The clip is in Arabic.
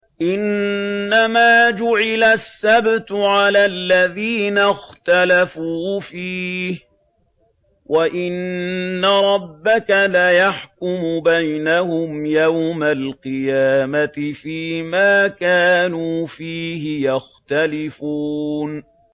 إِنَّمَا جُعِلَ السَّبْتُ عَلَى الَّذِينَ اخْتَلَفُوا فِيهِ ۚ وَإِنَّ رَبَّكَ لَيَحْكُمُ بَيْنَهُمْ يَوْمَ الْقِيَامَةِ فِيمَا كَانُوا فِيهِ يَخْتَلِفُونَ